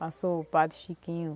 Passou o padre Chiquinho.